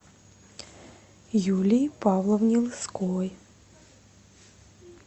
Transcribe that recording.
юлии павловне лысковой